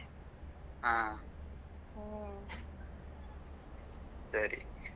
ಹಾ. ಸರಿ .